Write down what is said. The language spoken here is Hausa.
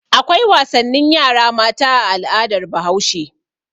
Akwai wasannin yara mata a al'adar Bahaushe.